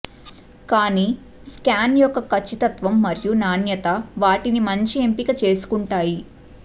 కానీ స్కాన్ యొక్క ఖచ్చితత్వం మరియు నాణ్యత వాటిని మంచి ఎంపిక చేసుకుంటాయి